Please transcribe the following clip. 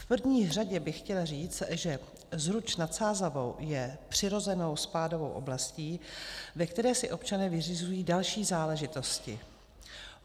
V první řadě bych chtěla říct, že Zruč nad Sázavou je přirozenou spádovou oblastí, ve které si občané vyřizují další záležitosti.